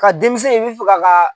Ka denmisɛn i be fɛ ka